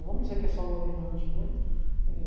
Não vamos dizer que é só o governante, né?